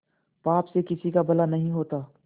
पाप से किसी का भला नहीं होता